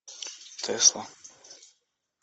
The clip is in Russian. тесла